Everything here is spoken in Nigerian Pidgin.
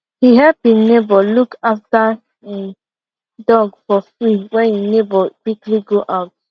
he help e neighbour look after e dog for free when e neighbour quickly go out